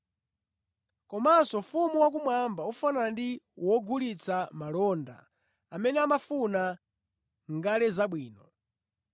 “Komanso Ufumu wakumwamba ufanana ndi wogulitsa malonda amene amafuna ngale zabwino.